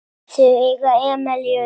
Þau eiga Emilíu Lind.